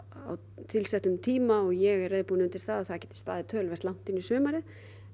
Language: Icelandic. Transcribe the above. á tilsettum tíma og ég er reiðubúin undir það að það geti staðið töluvert inn í sumarið